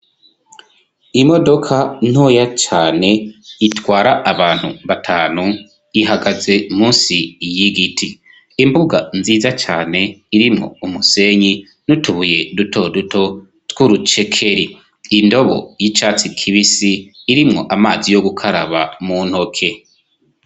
Imodoka ntoya cane itwara abantu batanu, ihagaze munsi y'igiti, imbuga nziza cane irimwo umusenyi nutubuye dutoduto tw'urucekeri, indobo y'icatsi kibisi irimwo amazi yo gukaraba mu ntoke.